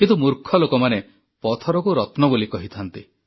କିନ୍ତୁ ମୂର୍ଖ ଲୋକମାନେ ପଥରକୁ ରତ୍ନ ବୋଲି କହିଥାନ୍ତି